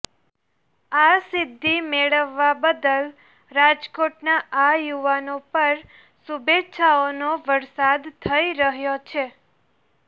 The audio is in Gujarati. આ સિદ્ધિ મેળવવા બદલ રાજકોટના આ યુવાનો પર શુભેચ્છાઓનો વરસાદ થઈ રહ્યો છે